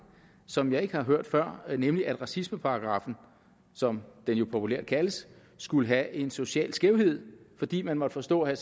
som jeg ikke har hørt før nemlig at racismeparagraffen som den jo populært kaldes skulle have en social skævhed fordi man måtte forstå at